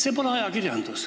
See pole ajakirjandus.